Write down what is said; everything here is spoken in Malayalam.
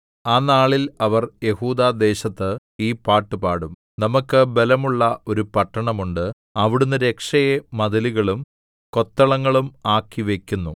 ആ നാളിൽ അവർ യെഹൂദാദേശത്ത് ഈ പാട്ടുപാടും നമുക്കു ബലമുള്ള ഒരു പട്ടണം ഉണ്ട് അവിടുന്ന് രക്ഷയെ മതിലുകളും കൊത്തളങ്ങളും ആക്കി വയ്ക്കുന്നു